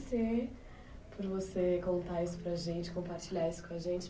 por você contar isso para a gente, compartilhar isso com a gente.